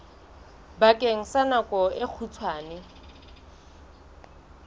bakeng sa nako e kgutshwane